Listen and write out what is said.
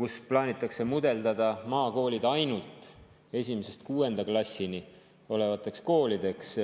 kus plaanitakse mudeldada maakoolid ainult 1.–6. klassi koolideks.